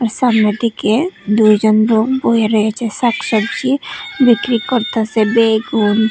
আর সামনের দিকে দুইজন লোক বয়ে রয়েছে শাক-সবজি বিক্রি করতাসে বেগুন--